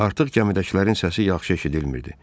Artıq gəmidəkilərin səsi yaxşı eşidilmirdi.